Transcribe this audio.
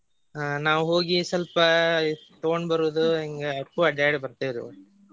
ಹ್ಮ್ ನಾವ್ ಹೋಗಿ ಸ್ವಲ್ಪ ತುಗೊಂಡ್ ಬರುದು ಹಿಂಗ ಒಟ್ ಅಡ್ಯಾಡಿ ಬರ್ತೆವ್ರಿ.